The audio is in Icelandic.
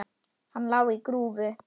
Hann lá á grúfu.